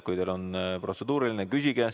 Kui teil on protseduuriline küsimus, siis küsige.